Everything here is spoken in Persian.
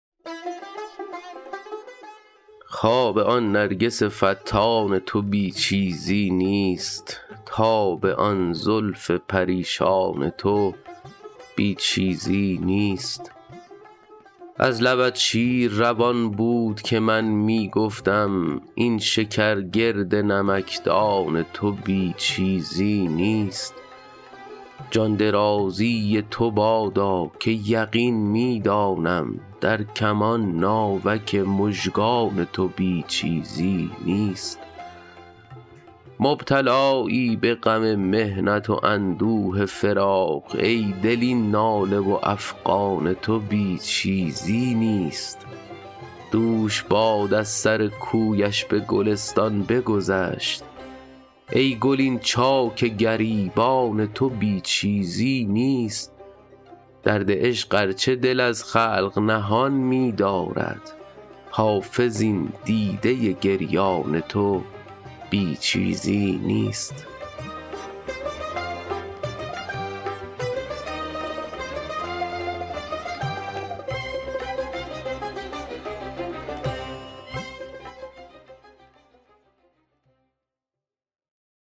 خواب آن نرگس فتان تو بی چیزی نیست تاب آن زلف پریشان تو بی چیزی نیست از لبت شیر روان بود که من می گفتم این شکر گرد نمکدان تو بی چیزی نیست جان درازی تو بادا که یقین می دانم در کمان ناوک مژگان تو بی چیزی نیست مبتلایی به غم محنت و اندوه فراق ای دل این ناله و افغان تو بی چیزی نیست دوش باد از سر کویش به گلستان بگذشت ای گل این چاک گریبان تو بی چیزی نیست درد عشق ار چه دل از خلق نهان می دارد حافظ این دیده گریان تو بی چیزی نیست